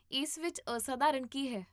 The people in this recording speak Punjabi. ਇਸ ਵਿੱਚ ਅਸਾਧਾਰਨ ਕੀ ਹੈ?